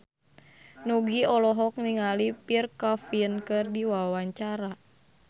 Nugie olohok ningali Pierre Coffin keur diwawancara